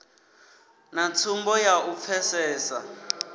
na tsumbo ya u pfesesa